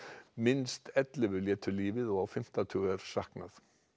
minnst ellefu létu lífið og á fimmta tug er saknað